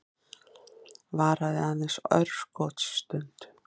Varaði aðeins örskotsstund.